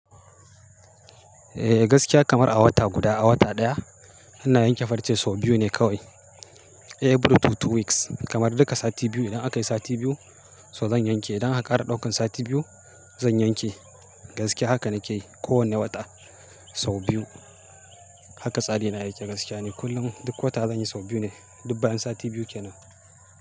Eh gaskiya kamar a wata guda, a wata ɗaya ina yanke farce sau biyu ne kawai. Every two two weeks kamar duka sati biyu idan akayi sati biyu so zan yanke. Idan akara ɗaukan sati biyu zan yanke gaskiya haka nakeyi kowane wata sau biyu. Haka tsari na yake gaskiya ni kullum duk wata zan yi sau biyu ne. Dub bayan sati biyu kenan.